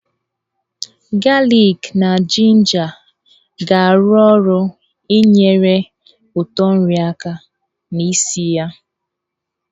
Galik na jinja ga-arụ ọrụ inyere ụtọ nri aka na ísì ya.